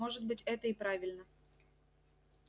может быть это и правильно